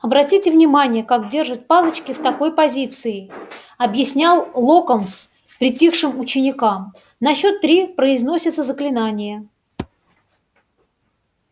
обратите внимание как держат палочки в такой позиции объяснял локонс притихшим ученикам на счёт три произносятся заклинания